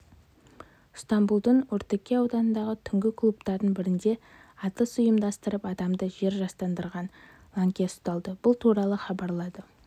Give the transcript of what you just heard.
ыстамбұлдың ортакөй ауданындағы түнгі клубтардың бірінде атыс ұйымдастырып адамды жер жастандырған лаңкес ұсталды бұл туралы хабарлады